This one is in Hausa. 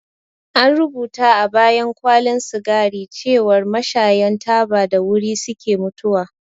An rubuta a bayan kwalin sigari cewar mashayan taba da wuri suke mutuwa